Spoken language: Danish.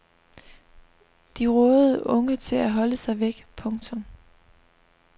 De rådede unge til at holde sig væk. punktum